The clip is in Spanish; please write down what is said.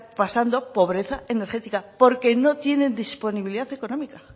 pasando pobreza energética porque no tienen disponibilidad económica